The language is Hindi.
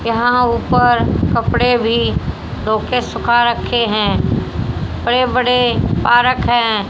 यहां ऊपर कपड़े भी धोके सुखा रखे हैं बड़े बड़े पारक है।